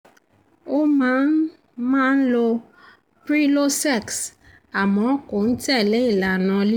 ó máa ń máa ń lo prilosex àmọ́ kò ń tẹ̀lẹ́ ìlànà lílo oògùn náà